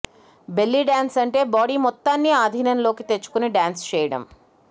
belly dance అంటే body మొత్తాన్ని ఆధీనంలోకి తెచ్చుకొని డ్యాన్స్ చేయడం